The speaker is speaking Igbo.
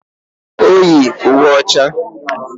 O yi uwe ọcha